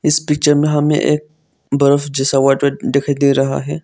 इस पिक्चर में हमें एक बर्फ जैसा व्हाइट व्हाइट दिखाई दे रहा है।